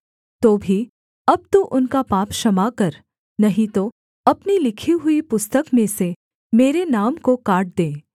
तो भी अब तू उनका पाप क्षमा कर नहीं तो अपनी लिखी हुई पुस्तक में से मेरे नाम को काट दे